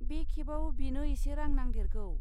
बे खेबाव, बिनो एसे रां नांदेरगौ।